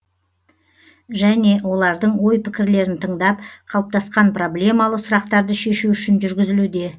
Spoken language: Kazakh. және олардың ой пікірлерін тыңдап қалыптасқан проблемалы сұрақтарды шешу үшін жүргізілуде